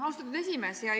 Austatud esimees!